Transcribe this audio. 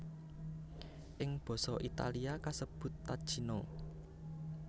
Ing basa Italia kasebut tacchino